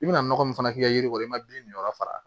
I bɛna nɔgɔ min fana k'i ka yiri kɔrɔ i ma bin nin yɔrɔ fara